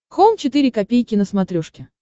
хоум четыре ка на смотрешке